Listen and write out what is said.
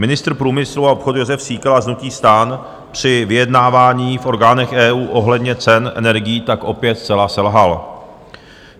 Ministr průmyslu a obchodu Jozef Síkela z hnutí STAN při vyjednávání v orgánech EU ohledně cen energií tak opět zcela selhal.